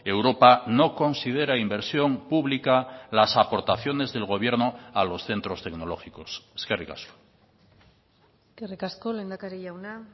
europa no considera inversión pública las aportaciones del gobierno a los centros tecnológicos eskerrik asko eskerrik asko lehendakari jauna